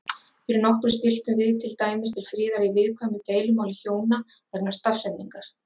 Fyrir nokkru stilltum við til dæmis til friðar í viðkvæmu deilumáli hjóna vegna stafsetningar.